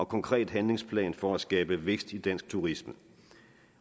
konkret handlingsplan for at skabe vækst i dansk turisme